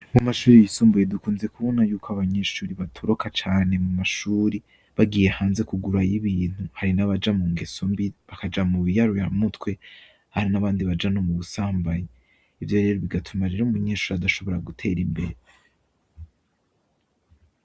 Mu mashuri yisumbuye dukunze kubona yuko abanyeshuri batoroka cane mu mashuri bagiye hanze kugurayo ibintu hari n'abaja mu ngeso mbi bakaja mu biyaruya mutwe ahari n'abandi baja no mu busambanyi ivyo rero bigatuma rero mu nyenshuri adashobora gutera imbere.